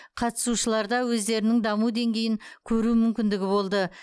қатысушыларда өздерінің даму деңгейін көру мүмкіндігі болды